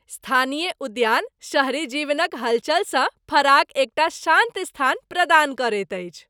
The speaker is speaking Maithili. स्थानीय उद्यान शहरी जीवनक हलचलसँ फराक एकटा शान्त स्थान प्रदान करैत अछि।